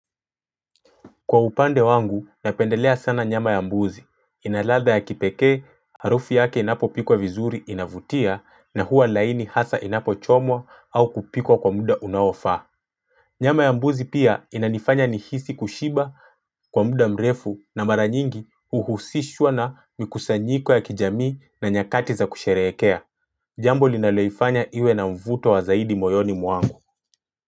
Kwa upande wangu, napendelea sana nyama ya mbuzi. Ina ladha ya kipekee, harufu yake inapo pikwa vizuri inavutia na huwa laini hasa inapo chomwa au kupikwa kwa muda unaofaa. Nyama ya mbuzi pia inanifanya nihisi kushiba kwa muda mrefu na mara nyingi uhusishwa na mikusanyiko ya kijamii na nyakati za kusherehekea. Jambo linaloifanya iwe na mvuto wa zaidi moyoni mwangu.